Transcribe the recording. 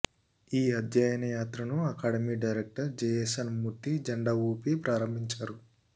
ఈ అధ్యయన యాత్రను అకాడమీ డైరెక్టర్ జెఎస్ఎన్ మూర్తి జెండా ఊపి ప్రారంభించారు